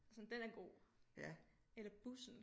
Sådan den er god eller bussen